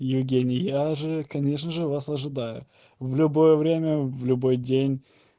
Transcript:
евгений я же конечно же вас ожидаю в любое время в любой день